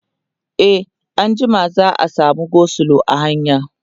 e anjima za'a samu go slow a hanya